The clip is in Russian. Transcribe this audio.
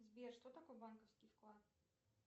сбер что такое банковский вклад